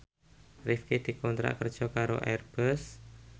Rifqi dikontrak kerja karo Airbus